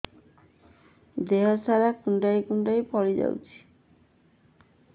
ଦେହ ସାରା କୁଣ୍ଡାଇ କୁଣ୍ଡାଇ ଫଳି ଯାଉଛି